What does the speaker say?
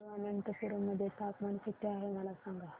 तिरूअनंतपुरम मध्ये तापमान किती आहे मला सांगा